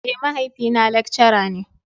Eh, mahaifi na lekcara ne.